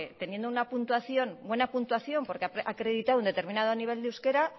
teniendo una puntuación buena puntuación porque ha acreditado un determinado nivel de euskera